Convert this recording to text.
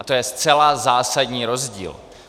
A to je zcela zásadní rozdíl.